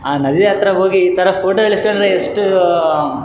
ಬೆಟ್ಟವು ನೋಡಲು ಬರುತ್ತಿದ್ದೇ ಇಲ್ಲಿ ಎರಡು ಮರಗಳು ಕಾಣಿಸಲು ಬರುತ್ತಿದ್ದೇ ಇಲ್ಲಿ ಇಬ್ಬರು--